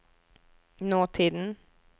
nåtiden